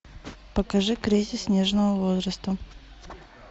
покажи кризис нежного возраста